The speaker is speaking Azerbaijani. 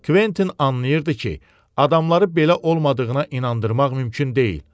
Quentin anlayırdı ki, adamları belə olmadığına inandırmaq mümkün deyil.